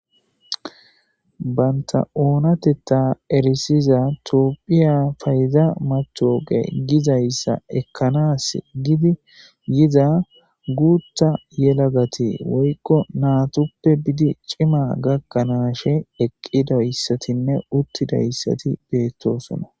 banta oonatetta erisiza toopphiya payiza matoge gizayssa ekkanas gidi yiza guutta yelagati woykko naatoppe bidi cima gakkanaashe eqqidayssatinne uttidayssati beettosona.